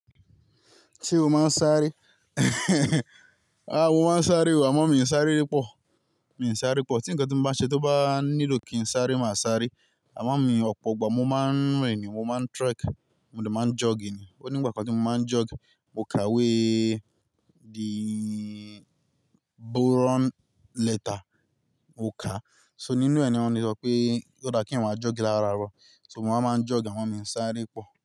Ṣé o máa ń sáré? Aà, mo máa ń sáré o, àmọ́ mi ò ń sáré púpọ̀. Mi ò ń sáré púpọ̀. Tí nkan tí mo bá n ṣe, tó bá nílò kí n sáré, mà á sáré. Àmọ́ mi ọ̀pọ̀ ìgbà mo máa ń rìn ni, mo máa ń trek, mo dẹ̀ máa ń jog ni. O nígbà kan tí mo máa ń jog, mo ka we the boron letter, mo kà á. So nínú ẹ̀ ni wọ́n ti sọ pé ó dá kí èèyàn máa jog lára rọ. So mo máa ń jog àmọ́ mi ò ń sáré púpọ̀